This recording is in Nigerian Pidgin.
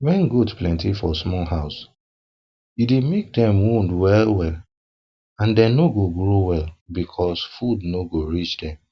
wen goat plenty for small house e dey make dem wound well well and dem no dey grow well because food no dey reach dem